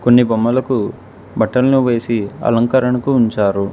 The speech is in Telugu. కొన్ని బొమ్మలకు బట్టలను వేసి అలంకరణకు ఉంచారు.